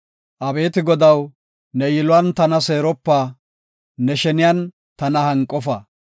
Abeeti Godaw, ne yiluwan tana seeropa; ne sheniyan tana hanqofa.